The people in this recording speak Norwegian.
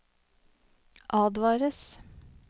advares